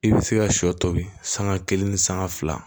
I bɛ se ka sɔ tobi sanga kelen ni sanga fila